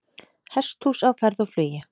Hesthús á ferð og flugi